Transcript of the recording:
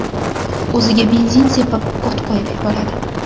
o‘ziga benzin sepib, o‘t qo‘yib yuboradi.